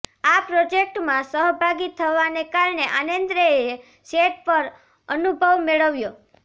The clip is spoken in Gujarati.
આ પ્રોજેક્ટમાં સહભાગી થવાને કારણે આન્દ્રેએ સેટ પર અનુભવ મેળવ્યો